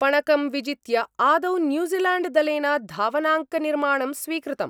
पणकं विजित्य आदौ न्यूजीलैण्डदलेन धावनाङ्कनिर्माणं स्वीकृतम्।